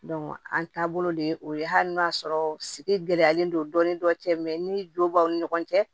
an taabolo de ye o ye hali n'a sɔrɔ sigi gɛlɛyalen don dɔɔnin dɔ cɛ ni don b'aw ni ɲɔgɔn cɛ